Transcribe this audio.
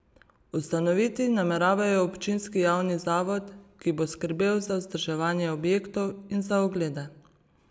Ustanoviti nameravajo občinski javni zavod, ki bo skrbel za vzdrževanje objektov in za oglede.